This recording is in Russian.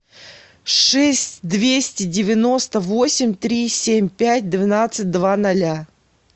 шесть двести девяносто восемь три семь пять двенадцать два ноля